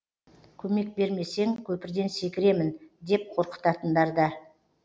көмек бермесең көпірден секіремін деп қорқытатындар да